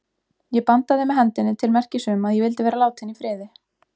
Ég bandaði með hendinni til merkis um að ég vildi vera látin í friði.